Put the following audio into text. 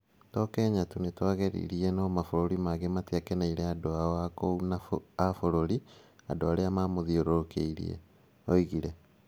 To Kenya tu; nĩtwageririe. No mabũrũri maingĩ matiakenĩire andũ ao a kũu na a bũrũri. Andũ arĩa mamũthiũrũrũkĩirie. " oigire.